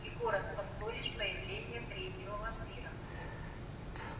егора спасло лишь появление третьего вампира